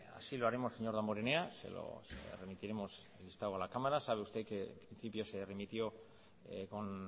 así lo haremos señor damborenea se lo remitiremos el listado a la cámara sabe usted que en principio se remitió con